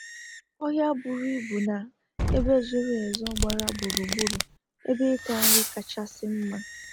Ohia bụrụ ibu na Ebe zoro ezo gbara gburu gburu ebe ita nri kachasi mma